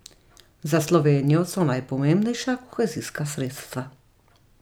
Za Slovenijo so najpomembnejša kohezijska sredstva.